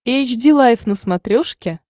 эйч ди лайф на смотрешке